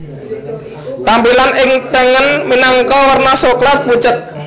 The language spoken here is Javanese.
Tampilan ing tengen minangka werna Soklat pucet